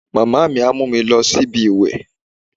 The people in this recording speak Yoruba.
Màmá mi á mú mi lọ síbi ìwèé